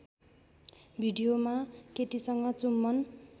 भिडियोमा केटीसँग चुम्बन